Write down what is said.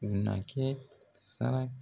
U na kɛ sara